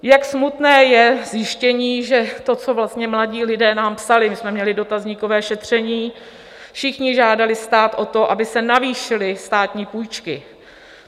Jak smutné je zjištění, že to, co vlastně mladí lidé nám psali - my jsme měli dotazníkové šetření: všichni žádali stát o to, aby se navýšily státní půjčky.